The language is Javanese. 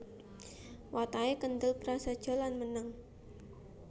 Watake kendhel prasaja lan meneng